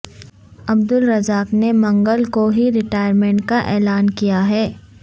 عبدالرزاق نے منگل کو ہی ریٹائرمنٹ کا اعلان کیا ہے